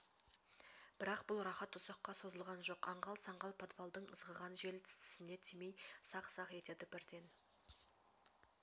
бірақ бұл рахат ұзаққа созылған жоқ аңғал-саңғал подвалдың ызғыған жел тіс тісіне тимей сақ-сақ етеді бірден